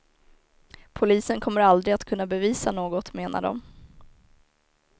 Polisen kommer aldrig att kunna bevisa något, menar de.